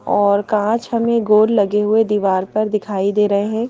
और कांच हमें गोल लगे हुए दीवाल पर दिखाई दे रहे हैं।